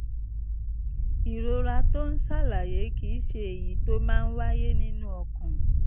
ìrora tó ò ń sàlàyé kì í ṣe èyí tó máa ń wáyé nínú ọkàn